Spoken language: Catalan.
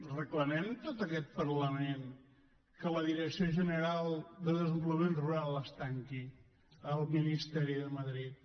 reclamem tot aquest parlament que la direcció general de desenvolupament rural es tanqui al ministeri de madrid